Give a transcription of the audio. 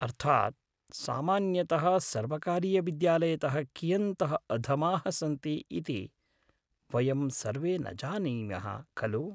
अर्थात् सामान्यतः सर्वकारीयविद्यालयतः कियन्तः अधमाः सन्ति इति वयं सर्वे न जानीमः खलु!